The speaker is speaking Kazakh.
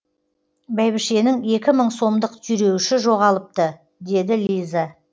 бәйбішенің екі мың сомдық түйреуіші жоғалыпты деді лиза